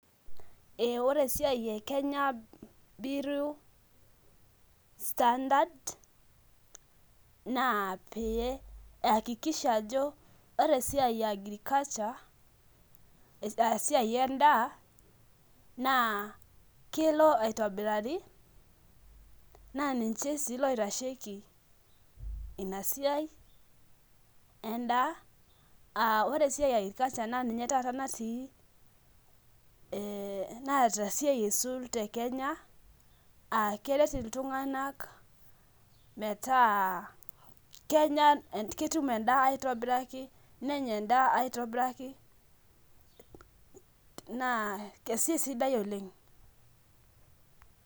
Ee ore esiaai e kenya biriu standard na piakikisha ajo ore esiai e agriculture esiai endaa na kelo aitobirari na ninche si oitashieki inadaa, ore esiai e agriculture [cs[ na ninye natii e naata esiai aisul tekenye aa keret ltunganak metaa kenya endaa aitobiraki nenya endaa aitobiraki na esiaia sidai oleng.